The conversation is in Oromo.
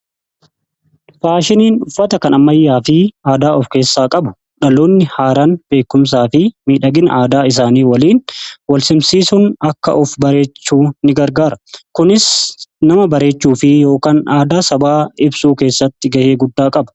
Faashiniin uffata kan ammayyaa fi aadaa of keessaa qabu dhaloonni haaraan beekumsaa fi miidhagina aadaa isaanii waliin wal simsiisuun akka of bareechuu ni gargaara. Kunis nama bareechuu fi yookan aadaa sabaa ibsuu keessatti ga'ee guddaa qaba.